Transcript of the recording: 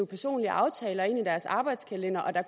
personlige aftaler ind i deres arbejdskalender og der